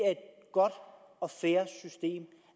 godt og fair system